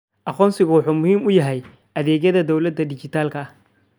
Aqoonsigu wuxuu muhiim u yahay adeegyada dawladda dhijitaalka ah.